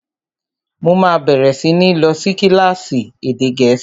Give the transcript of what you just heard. Mo máa bẹ̀rẹ̀ sí ní lọ sí kílásì èdè gẹ̀ẹ́sì